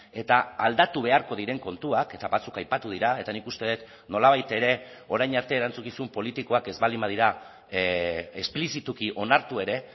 eta aldatu beharko diren kontuak eta batzuk aipatu dira eta nik uste dut nolabait ere orain arte erantzukizun politikoak ez baldin badira esplizituki onartu ere